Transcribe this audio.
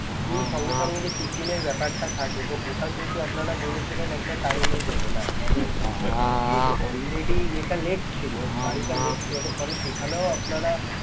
গিয়েই সঙ্গে সঙ্গে tiffin এর বেপার টা থাকে তো ওটা কিন্তু আপনারা বলেছিলেন একটা time এ দেবেন আপনাদের আ~ যেহেতু already এটা late ছিল গাড়িটা late ছিল ফলে সেখানেও আপনারা